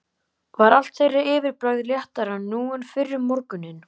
Var allt þeirra yfirbragð léttara nú en fyrr um morguninn.